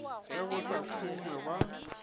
ge go sa šongwe ga